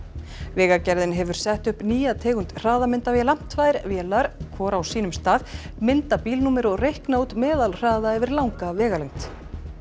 vegagerðin hefur sett upp nýja tegund hraðamyndavéla tvær vélar hvor á sínum stað mynda bílnúmer og reikna út meðalhraða yfir langa vegalengd